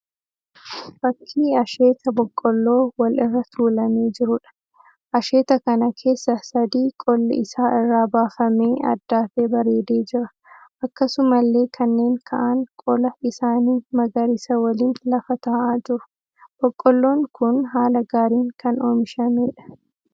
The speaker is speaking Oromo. Fakkii asheeta boqqolloo wal irra tuulamee jiruudha. Asheeta kana keessa sadii qolli isaa irraa baafamee addaatee bareedee jira. Akkasumallee kanneen ka'aan qola isaanii magariisa waliin lafa ta'aa jiru. Boqqolloon kun haala gaariin kan oomishameedha.